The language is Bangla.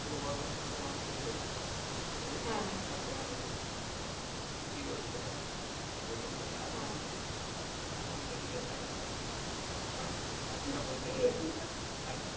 মানুষ এর শরীর ঠিক থাকলে মানুষ কি করে বেঁচে থাকবে সেই জন্যেই এখন এখন medical line টাই একটা বলতে গেলে